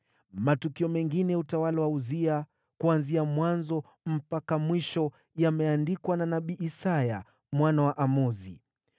Matukio mengine ya utawala wa Uzia, kuanzia mwanzo mpaka mwisho, yameandikwa na nabii Isaya mwana wa Amozi.